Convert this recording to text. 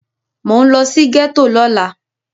Mò ń lọ sí gẹ́tò lọ́la.